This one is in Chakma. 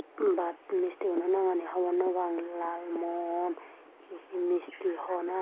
Baat misti guno nangani hobor no paang lal mon he he misti hon i.